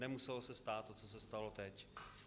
Nemuselo se stát to, co se stalo teď.